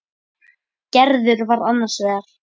Gerður var annars vegar.